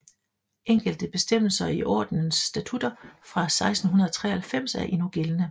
Enkelte bestemmelser i ordenens statutter fra 1693 er endnu gældende